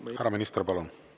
Härra minister, palun!